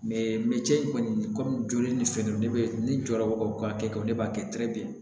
kɔni kɔmi joli ni fɛn dɔ be ne jɔyɔrɔ ka kɛ ne b'a kɛ